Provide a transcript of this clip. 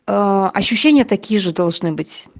аа ощущение такие же должны быть